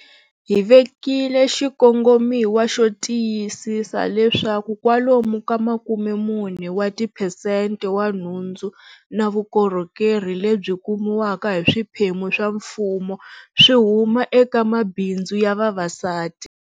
Hi vekile xikongomiwa xo tiyisisa leswaku kwalomu ka 40 wa tiphesente wa nhundzu na vukorhokeri lebyi kumiwaka hi swiphemu swa mfumo swi huma eka mabindzu ya vavasati.